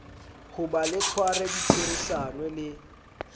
hoba le tshware ditherisano le